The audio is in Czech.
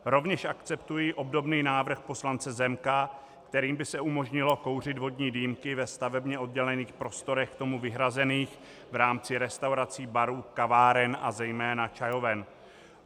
Rovněž akceptuji obdobný návrh poslance Zemka, kterým by se umožnilo kouřit vodní dýmky ve stavebně oddělených prostorech k tomu vyhrazených v rámci restaurací, barů, kaváren a zejména čajoven.